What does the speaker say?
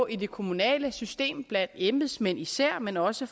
i det kommunale system blandt embedsmænd især men også